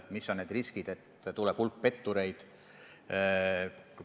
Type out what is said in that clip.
Kui suur on risk, et tekib hulk pettureid?